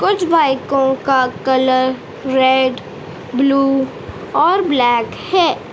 कुछ बाइकों का कलर रेड ब्लू और ब्लैक है।